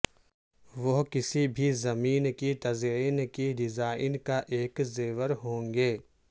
وہ کسی بھی زمین کی تزئین کی ڈیزائن کا ایک زیور ہوں گے